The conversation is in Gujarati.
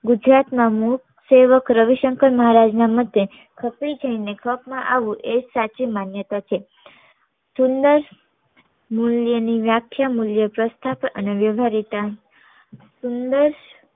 ગુજરાત માં મુખ સેવક રવિશંકર મહારાજ ના મતે ખપી જી ને એજ ખપ માં આવવું એ જ સાચી માન્યતા છે સુંદર મુલ્ય ની વ્યાખ્યા મુલ્ય પ્રસ્થાપ અને વ્યવ્હારીતા